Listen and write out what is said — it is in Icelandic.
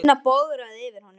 Tinna bograði yfir honum.